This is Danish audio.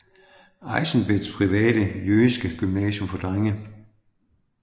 Eizenbets private jødiske gymnasium for drenge